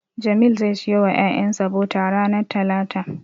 Jamil zai siyo wa ƴaƴansa bota ranar talata.